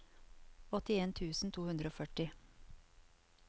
åttien tusen to hundre og førti